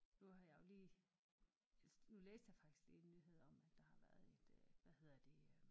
Nu har jeg jo lige nu læste jeg faktisk lige en nyhed om at der har været et øh hvad hedder det øh